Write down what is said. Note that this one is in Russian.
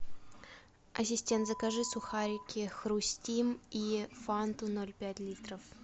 ассистент закажи сухарики хрустим и фанту ноль пять литров